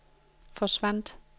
forsvandt